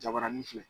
Jabarani filɛ